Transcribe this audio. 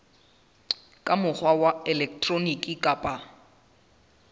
ka mokgwa wa elektroniki kapa